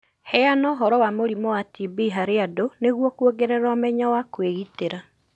Heana ũhoro wa mũrimũ wa TB harĩ andũ nĩguo kuongerera ũmenyo wa kwĩgitĩra.